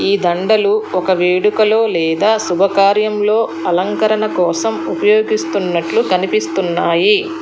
ఈ దండలు ఒక వేడుకలో లేదా శుభకార్యంలో అలంకరణ కోసం ఉపయోగిస్తున్నట్లు కనిపిస్తున్నాయి.